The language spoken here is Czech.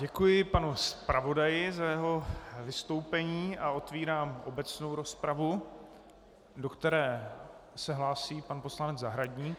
Děkuji panu zpravodaji za jeho vystoupení a otevírám obecnou rozpravu, do které se hlásí pan poslanec Zahradník.